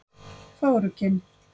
Fögrukinn